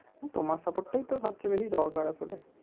তোমার support টাই তো সবচে বেশি দরকার আছে আসলে